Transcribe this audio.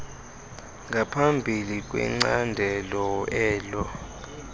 ngaphambili kwicandelo elo